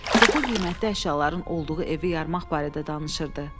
Çoxlu qiymətli əşyaların olduğu evi yarmaq barədə danışırdı.